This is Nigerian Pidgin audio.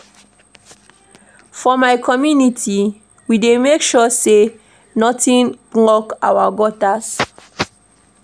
For my community, we dey make sure sey nothing block our gutters.